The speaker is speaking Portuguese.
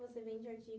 Você vende artigos...